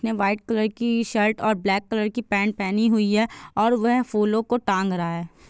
White colour की shirt और black colour की पैंट पहनी हुई है और वह फूलो को टांग रहा हैं ।